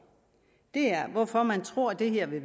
hvorfor man tror det her vil